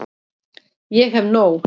Ég hef nóg.